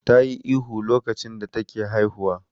Tayi ihu lokacin da take haihuwa.